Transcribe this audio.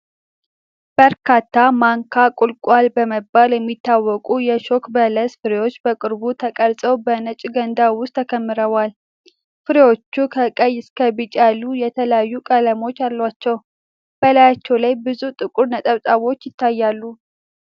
በርካታ "ማንካ ቁልቋል" በመባል የሚታወቁ የእሾክ በለስ ፍሬዎች በቅርብ ተቀርጸው በነጭ ገንዳ ውስጥ ተከምረዋል። ፍሬዎቹ ከቀይ እስከ ቢጫ ያሉ የተለያዩ ቀለሞች አላቸው፣ በላያቸው ላይ ብዙ ጥቁር ነጠብጣቦች ይታያሉ።